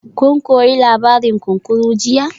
Kun koyi labarin kunkuru jiya?